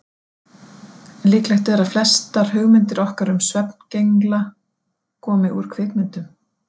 Líklegt er að flestar hugmyndir okkar um svefngengla komi úr bíómyndum.